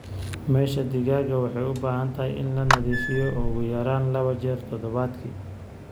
Meesha digaaga waxay u baahan tahay in la nadiifiyo ugu yaraan laba jeer toddobaadkii.